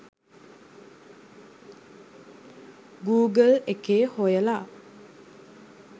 Google එකේ හොයලා